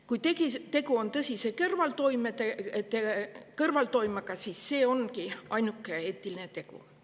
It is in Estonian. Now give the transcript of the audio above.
Kui tegu on tõsise kõrvaltoimega, siis see ongi ainuke eetiline tegu.